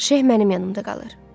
Şeyh mənim yanımda qalır.